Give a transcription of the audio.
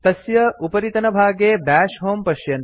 तस्य उपरितनभागे भवन्तः दश होमे पश्यन्ति